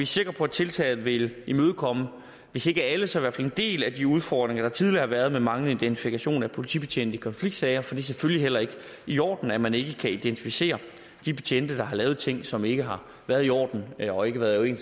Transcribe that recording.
sikre på at tiltaget vil imødekomme hvis ikke alle så i hvert fald en del af de udfordringer der tidligere har været med manglende identifikation af politibetjente i konfliktsager for det er selvfølgelig heller ikke i orden at man ikke kan identificere de betjente der har lavet ting som ikke har været i orden og ikke været i